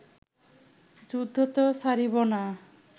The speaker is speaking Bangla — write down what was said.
যুদ্ধ ত ছাড়িব না